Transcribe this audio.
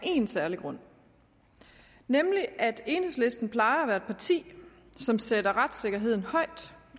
af én særlig grund nemlig at enhedslisten plejer at være et parti som sætter retssikkerheden højt